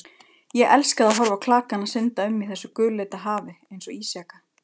Ég elskaði að horfa á klakana synda um í þessu gulleita hafi einsog ísjaka.